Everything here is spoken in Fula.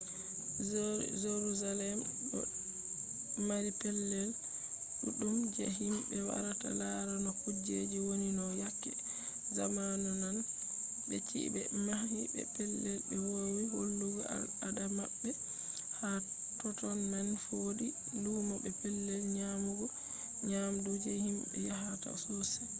jarusalem ɗo mari pellel ɗuɗɗum je himɓe warata laara no kujeji woni no yake zamanu nane be chi’e ɓe mahi be pellel ɓe woowi hollugo al ada maɓɓe ha totton man fu wodi lumo be pellel nyamugo nyamdu je himɓe yahata sossai